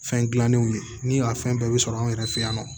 Fɛn gilannenw ye ni a fɛn bɛɛ bɛ sɔrɔ an yɛrɛ fɛ yan nɔ